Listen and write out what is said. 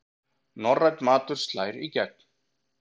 Norrænn matur slær í gegn